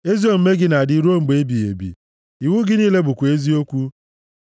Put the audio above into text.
Ezi omume gị na-adị ruo mgbe ebighị ebi. Iwu gị niile bụkwa eziokwu.